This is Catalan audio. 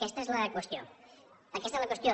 aquesta és la qüestió aquesta és la qüestió